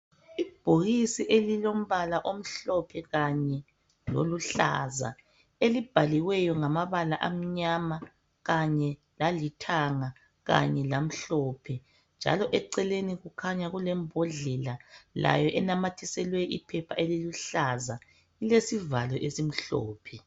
Ibhokisi elilombala omhlophe kanye loluhlaza elibhaliweyo ngamabala amnyama kanye lalithanga kanye lamhlophe njalo eceleni kukhanya kulembhodlela layo enamathiselwe iphepha eliluhlaza lilesivalo esimhlophe.